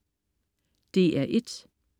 DR1: